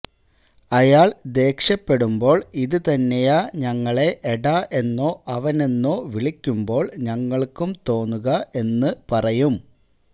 അയാള് ദേഷ്യപ്പെടുമ്പോള് ഇത് തന്നെയാ ഞങ്ങളെ എടാ എന്നോ അവനെന്നോ വിളിക്കുമ്പോള് ഞങ്ങള്ക്കും തോന്നുക എന്ന് പറയും